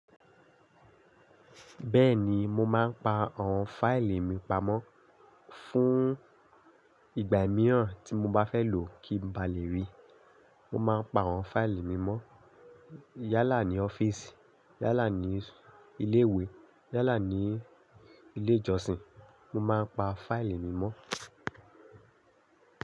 Bẹ́ẹ̀ni, mo máa ń pa àwọn fáìlì mi pamọ́ fún ìgbà mìíràn tí mo bá fẹ́ lò kí n ba lè rí i. Mo máa ń pa àwọn fáìlì mi mọ́ yálà ní ọ́fíìsì, yálà ní ilé ìwé, yálà ní ilé ìjọsìn. Mo máa ń pa fáìlì mi mọ́.